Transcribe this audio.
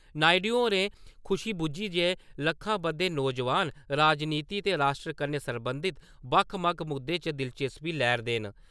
नायडु होर खुशी बुज्झी जे लक्खां बद्दे नौजवान, राजनीति च ते राष्ट्र कन्नै सरबंधत बक्ख-बक्ख मुद्दे च दिलचस्पी लै 'रदे न ।